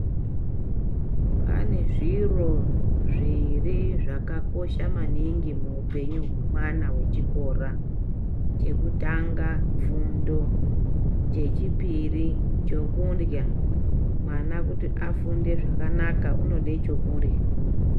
Pane zviro zviiri zvakakosha maningi muupenyu hwemwana wechikora chekutanga fundo chechipiri chekundya .Mwana kuti afunde zvakanaka unode chekurya.